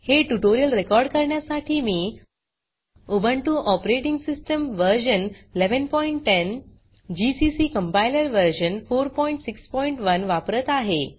हे tutorial record करण्यासाठी मी Ubuntu operating system version 1110 GCC compiler version 461 वापरत आहे